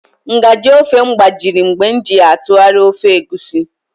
Nga/ji ofe m gbajiri mgbe m ji ya atụgharịa ofe Egusi